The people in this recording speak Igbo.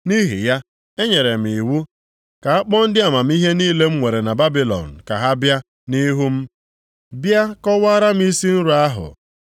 Nʼihi ya, enyere m iwu ka a kpọọ ndị amamihe niile m nwere na Babilọn ka ha bịa nʼihu m, bịa kọwaara m isi nrọ ahụ.